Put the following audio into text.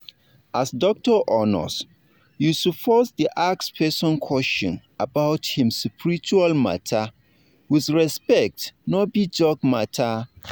as doctor or nurse you suppose da ask person question about him spiritual matters wid respect no be joke matter